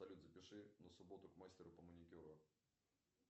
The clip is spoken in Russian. салют запиши на субботу к мастеру по маникюру